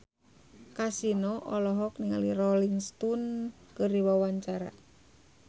Kasino olohok ningali Rolling Stone keur diwawancara